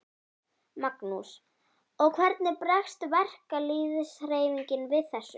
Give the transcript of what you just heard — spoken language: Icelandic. Magnús: Og hvernig bregst verkalýðshreyfingin við þessu?